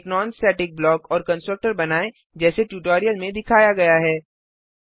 एक non static block और constructor बनाएँ जैसे ट्यूटोरियल में दिखाया गया है